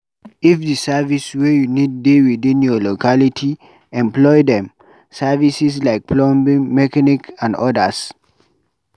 If di service wey you need dey within your locality, employ dem. Services like plumbing, mechanic and odas